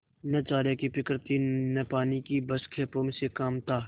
न चारे की फिक्र थी न पानी की बस खेपों से काम था